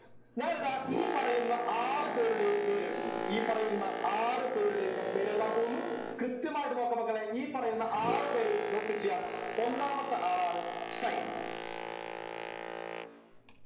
ഞാനിതാ ഈ പറയുന്ന ആറു പേരുടെയും പേരെഴുത്തുന്നു ഈ പറയുന്ന ആറു പേരുടെയും ഞാൻ പേരെഴുതാൻ പോവുന്നു കൃത്യമായിട്ട് നോക്കുക മക്കളെ ഈ പറയുന്ന ആറു പേരും note ചെയ്യാ ഒന്നാമത്തെ ആളാണ് sine